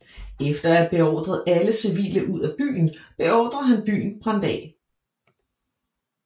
Efter at have beordret alle civile ud af byen beordrede han byen brændt af